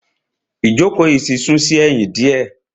Ìjókòó yìí ti sún sí ẹ̀yìn diẹ.